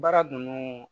Baara ninnu